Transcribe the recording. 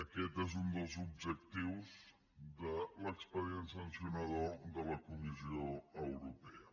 aquest és un dels objectius de l’expedient sancionador de la comissió europea